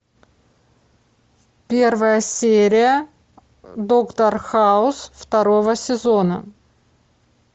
первая серия доктор хаус второго сезона